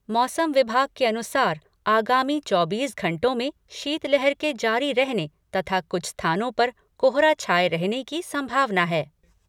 मौसम विभाग के अनुसार आगामी चौबीस घंटों में शीतलहर के जारी रहने तथा कुछ स्थानों पर कोहरा छाये रहने की संभावना हैं।